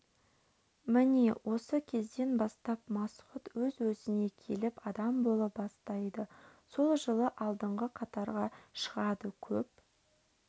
міне осы кезден бастап масғұт өз-өзіне келіп адам бола бастайды сол жылы алдыңғы қатарға шығады көп